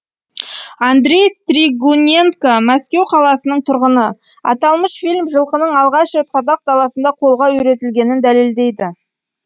андрей стригуненко мәскеу қаласының тұрғыны аталмыш фильм жылқының алғаш рет қазақ даласында қолға үйретілгенін дәлелдейді